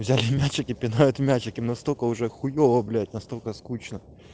взяли мячики пинают мячики настолько уже хуёво блять настолько скучно